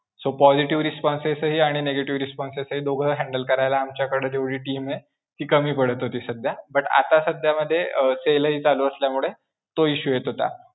So positive responses आणि negative responses हे दोघे handle करायला आमच्याकडे जेवढी team आहे, ती कमी पडत होती सध्या, but आता सध्यामध्ये अं sale हि चालू असल्यामुळे, तो issue येत होता.